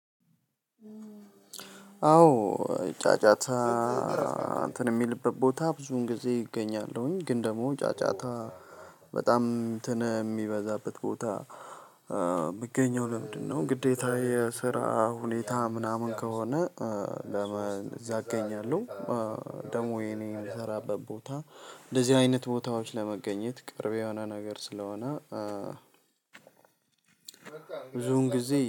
አዎ ጫጫታ እንትን የሚልበት ቦታ ብዙን ጊዜ እገኛለሁኝ። ግን ደግሞ ጫጫታ በጣም እንትን የሚበዛበት ቦታ የምገኘው ለምንድነው ግዴታ የስራ ሁኔታ ምናምን ከሆነ ለምን እዛ እገኛለሁ። ደግሞ የኔ የምሰራበት ቦታ እንደዚህ አይነት ቦታዎች ለመገኘት ቅርብ የሆነ ነገር ስለሆነ ብዙን ጊዜ